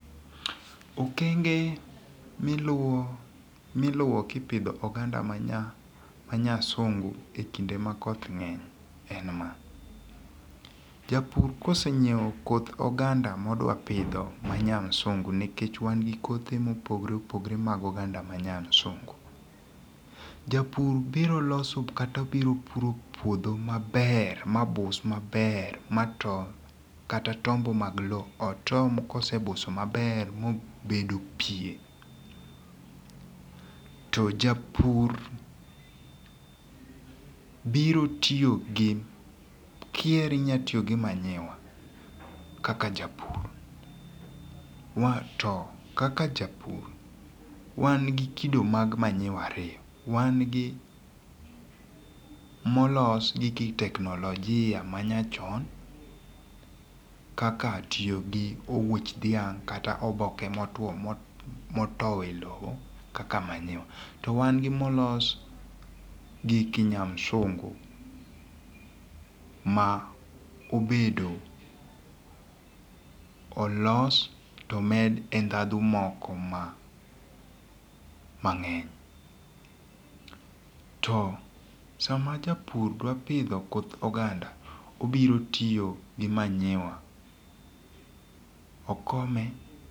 okenge miluwo miluwo kipidho oganda manya ma nyasungu ekinde makoth ng'eny en ma:Japur kosenyiewo koth oganda modwa pidho ma nya msungu nikech wan gi kothe mopogore opogore mag oganda ma nya msungu. Japur biro loso kata biro puro puodho maber ma bus maber mato kata tombo mag lowo otom kosebuso maber mobedo pie. To japur biro tiyo gi kihero inyalo tiyo gi manyiwa kaka japur to kaka japur wan gi jakido mag manyiwa ariyo wan gi molos gi ki teknolojia manya chon kaka tiyo gi owuoch dhiang' kata tiyo gi oboke motwo moto e lowo kaka manyiwa to wan gi molos gi kinyamsungu ma obedo olos to med e ndhandu moko ma mangeny to sama japur dwa pidho koth oganda obiro tiyo gi manyiwa okome.